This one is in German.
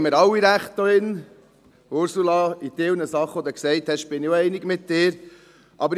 Ursula Zybach, bei gewissen Sachen, die Sie gesagt haben, bin ich auch mit Ihnen einig.